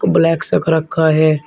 Black सा एक रखा है।